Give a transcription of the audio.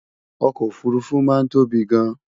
okò òfurufú máa ń tóbi gáàn